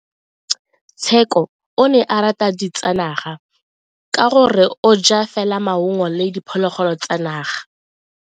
Tsheko o rata ditsanaga ka gore o ja fela maungo le diphologolo tsa naga.